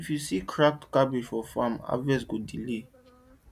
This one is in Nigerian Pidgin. if you see cracked calabash for farm harvest go delay